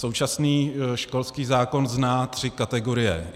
Současný školský zákon zná tři kategorie.